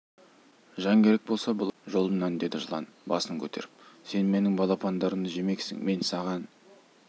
жан керек болса былай тұр жолымнан деді жылан басын көтеріп сен менің балапандарымды жемексің мен саған